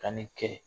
Ka nin kɛ